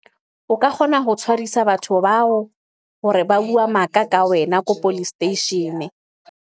O ka kgona ho tshwarisa batho bao hore ba bua maka ka wena, ko policestation-e.